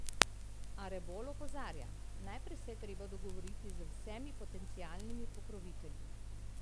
A Rebolj opozarja: 'Najprej se je treba dogovoriti z vsemi potencialnimi pokrovitelji.